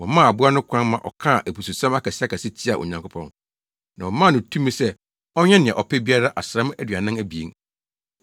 Wɔmaa aboa no kwan ma ɔkaa abususɛm akɛseakɛse tiaa Onyankopɔn, na wɔmaa no tumi sɛ ɔnyɛ nea ɔpɛ biara asram aduanan abien.